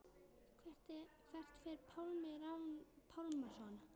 Hvert fer Pálmi Rafn Pálmason?